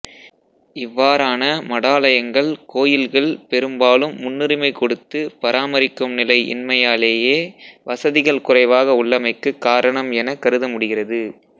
இவ்வாறான மடாலயங்கள் கோயில்கள் பெரும்பாலும் முன்னுரிமை கொடுத்து பராமரிக்கும் நிலை இன்மையாலேயே வசதிகள் குறைவாக உள்ளமைக்குக் காரணம் எனக் கருதமுடிகிறது